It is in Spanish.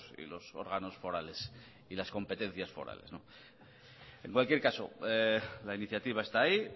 y los órganos forales y las competencias forales en cualquier caso la iniciativa está ahí